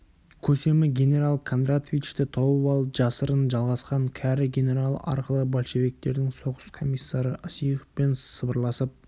көсемі генерал кондратовичті тауып алып жасырын жалғасқан кәрі генерал арқылы большевиктердің соғыс комиссары осиповпен сыбырласып